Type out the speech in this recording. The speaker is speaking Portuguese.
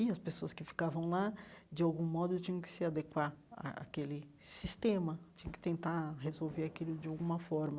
E as pessoas que ficavam lá, de algum modo, tinham que se adequar à àquele sistema, tinham que tentar resolver aquilo de alguma forma.